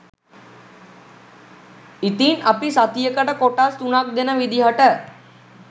ඉතින් අපි සතියකට කොටස් තුනක් දෙන විදිහට